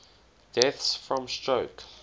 deaths from stroke